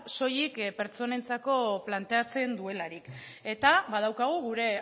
soilik pertsonentzako planteatzen duelarik eta badaukagu gure